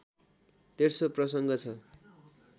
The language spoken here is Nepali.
तेस्रो प्रसङ्ग छ